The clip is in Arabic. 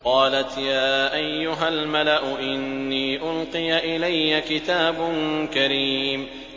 قَالَتْ يَا أَيُّهَا الْمَلَأُ إِنِّي أُلْقِيَ إِلَيَّ كِتَابٌ كَرِيمٌ